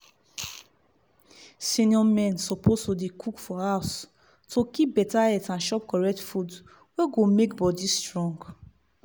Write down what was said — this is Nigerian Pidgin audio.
seniour men suppose dey cook for house to keep better health and chop correct food wey go make body strong.